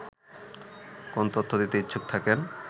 কোন তথ্য দিতে ইচ্ছুক থাকেন